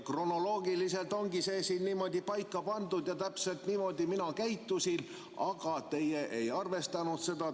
Kronoloogiliselt ongi see siin niimoodi paika pandud ja täpselt niimoodi mina käitusin, aga teie ei arvestanud seda.